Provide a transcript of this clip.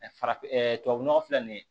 farafinnɔgɔ filɛ nin ye